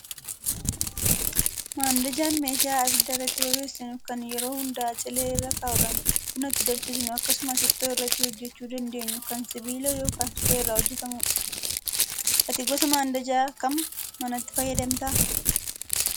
Mandajaan meeshaa abidda irratti bobeessainu kan yeroo hedduu cilee irra kaa'uudhaan buna itti danfisnu akkasumas ittoo irratti hojjachuu dandeenyu kan sibiila yookaan suphee irraa hojjatamudha. Ati gosa mandajaa kam manatti fayyadamtaa?